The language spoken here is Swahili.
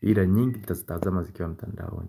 ila nyingi ntazitazama zikiwa mtandaoni.